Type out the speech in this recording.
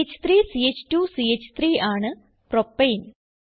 ch3 ch2 ച്ച്3 ആണ് propane